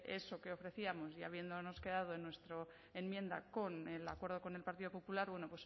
eso que ofrecíamos y habiéndonos quedado en nuestra enmienda con el acuerdo con el partido popular bueno